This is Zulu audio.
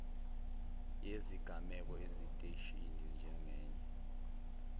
yezigameko esiteshini njengenye